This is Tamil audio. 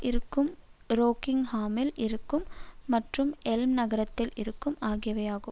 இருக்கும் ரோக்கிங்ஹாமில் இருக்கும் மற்றும் எல்ம் நகரத்தில் இருக்கும் ஆகியவை ஆகும்